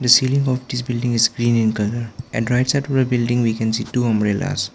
the ceiling of this building is green in colour and right side to the building we can see two umbrellas.